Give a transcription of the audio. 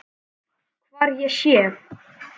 Hvar ég sé.